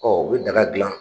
Ɔ u bɛ daga dilan